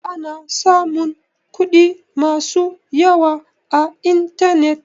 Ana samun kuɗi masu yawa a intanet.